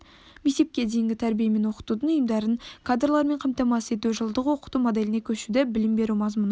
мектепке дейінгі тәрбие мен оқытудың ұйымдарын кадрлармен қамтамасыз ету жылдық оқыту моделіне көшуді білім беру мазмұнын